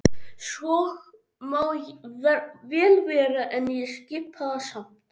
Svo má vel vera en ég skipa það samt.